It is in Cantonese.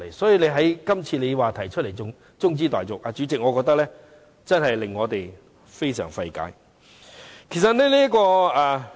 他今次提出中止待續議案，主席，我覺得令我們感到非常費解。